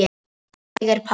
Þannig er pabbi.